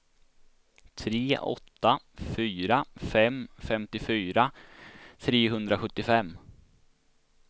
tre åtta fyra fem femtiofyra trehundrasjuttiofem